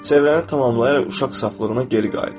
Çevrəni tamamlayaraq uşaq saflığına geri qayıt.